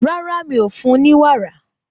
Rárá, mi ò fún un ní wàrà